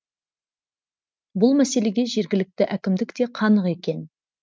бұл мәселеге жергілікті әкімдік те қанық екен